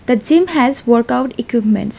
The gym has workout equipments.